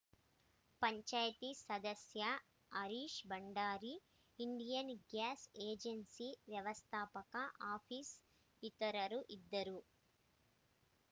ಪಂಚಾಯಿತಿ ಸದಸ್ಯ Harish Bhandari Indian gas agency ವ್ಯವಸ್ಥಾಪಕ office ಇತರರು ಇದ್ದರು